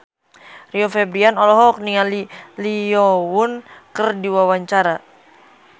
Rio Febrian olohok ningali Lee Yo Won keur diwawancara